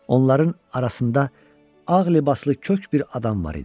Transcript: Onların arasında ağ libaslı kök bir adam var idi.